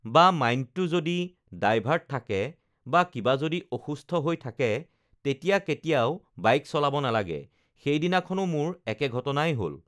বা মাইণ্ডটো যদি ডাইভাৰ্ট থাকে বা কিবা যদি অসুস্থ হৈ থাকে তেতিয়া কেতিয়াও বাইক চলাব নালাগে, সেইদিনাখনো মোৰ একে ঘটনাই হ'ল